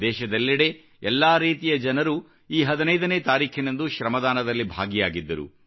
ದೇಶದೆಲ್ಲೆಡೆ ಎಲ್ಲಾ ರೀತಿಯ ಜನರೂ ಈ 15 ನೇ ತಾರೀಖಿನಂದು ಶ್ರಮದಾನದಲ್ಲಿ ಭಾಗಿಯಾಗಿದ್ದರು